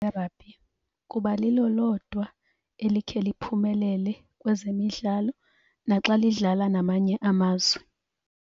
Rugby kuba lilo lodwa elikhe liphumelele kwezemidlalo naxa lidlala namanye amazwe.